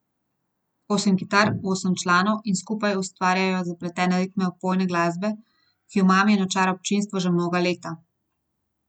Osem kitar, osem članov, ki skupaj ustvarjajo zapletene ritme opojne glasbe, ki omami in očara občinstvo že mnoga leta.